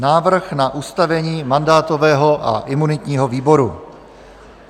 Návrh na ustavení mandátového a imunitního výboru